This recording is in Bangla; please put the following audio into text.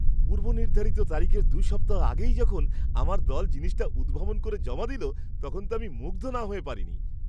পূর্বনির্ধারিত তারিখের দু সপ্তাহ আগেই যখন আমার দল জিনিসটা উদ্ভাবন করে জমা দিল, তখন তো আমি মুগ্ধ না হয়ে পারিনি!